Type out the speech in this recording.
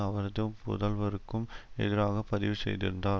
அவரது புதல்வருக்கும் எதிராக பதிவு செய்திருந்தார்